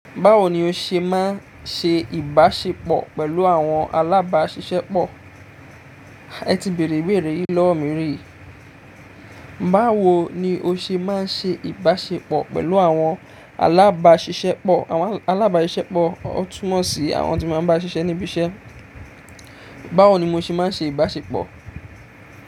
Báwo ni ó ṣe máa ń ṣe ìbáṣepọ̀ pẹ̀lú àwọn alábáṣiṣẹ́pọ̀? Ẹ̀ tí bèrè ìbéèrè yìí lọwọ mí rí Báwo ni ó ṣe máa ń ṣe ìbáṣepọ̀ pẹ̀lú àwọn alábáṣiṣẹ́pọ̀? Àwọn alábáṣiṣẹ́pọ̀ túmọ̀ sí àwọn tí má n bá ṣiṣẹ́ níbi iṣẹ́. Báwo ni mo ṣe máa ń ṣe ìbáṣepọ̀?